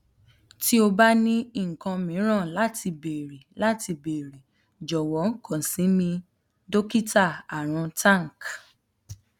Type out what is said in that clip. ti o ba ni nkan miiran lati beere lati beere jọwọ kan si mi dokita arun tank